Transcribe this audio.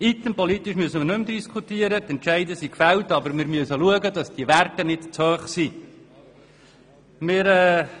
Politisch müssen wir nicht mehr darüber diskutieren, die Entscheide wurden gefällt, aber wir müssen schauen, dass diese Werte nicht zu hoch sind.